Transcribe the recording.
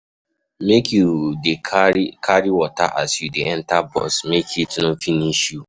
Make you dey carry carry water as you dey enta bus make heat no finish you.